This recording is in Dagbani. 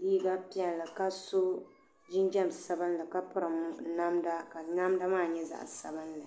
ʒɛya ni bɛ niŋ Piibu Piibu maa ka yinga ŋun pun niŋ o piibu piibu ka o zaŋ gbaŋ maa na ni o ti niŋ boaɣasi maa puuni ka loori ʒee za nimaani ka tihi be nimaani ka sheb zaŋ bɛ zaŋ bɛ nuu zaŋ pobi pobi.